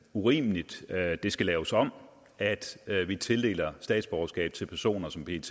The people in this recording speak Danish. urimeligt og at det skal laves om at vi tildeler statsborgerskab til personer som pet